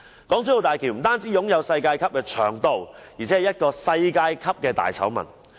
港珠澳大橋不單擁有世界級的長度，而且是一個世界級的大醜聞。